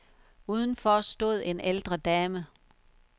Udenfor stod en ældre dame.